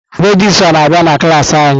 Regịstrá na-abịa na klas anyị.